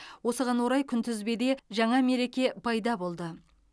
осыған орай күнтізбеде жаңа мереке пайда болды